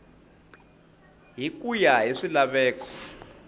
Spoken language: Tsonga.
hi ku ya hi swilaveko